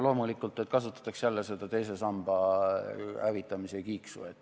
Loomulikult, et kasutatakse jälle seda teise samba hävitamise kiiksu.